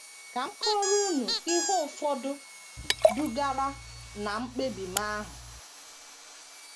Ka m kọọrọ unu ihe ụfọdụ dugara ná mkpebi m ahụ.